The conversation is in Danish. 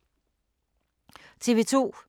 TV 2